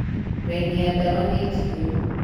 Raini ya dawa nĩjihũru.